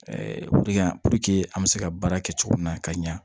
an bɛ se ka baara kɛ cogo min na ka ɲɛ